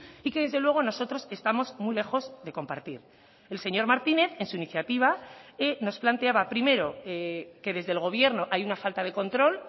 y que desde luego nosotros estamos muy lejos de compartir el señor martínez en su iniciativa nos planteaba primero que desde el gobierno hay una falta de control